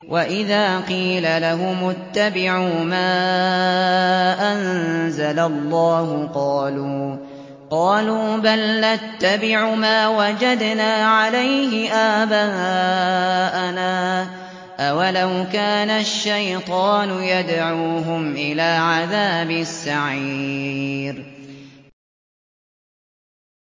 وَإِذَا قِيلَ لَهُمُ اتَّبِعُوا مَا أَنزَلَ اللَّهُ قَالُوا بَلْ نَتَّبِعُ مَا وَجَدْنَا عَلَيْهِ آبَاءَنَا ۚ أَوَلَوْ كَانَ الشَّيْطَانُ يَدْعُوهُمْ إِلَىٰ عَذَابِ السَّعِيرِ